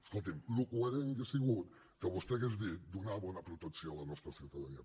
escolti’m el coherent hauria sigut que vostè hagués dit donar bona protecció a la nostra ciutadania